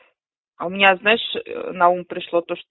у меня знаешь на ум пришло то что